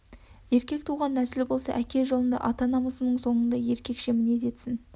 еркек туған нәсіл болса әке жолында ата намасының соңында еркекше мінез етсін